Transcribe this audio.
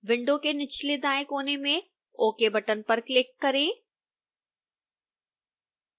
window के निचले दाएं कोने में ok बटन पर क्लिक करें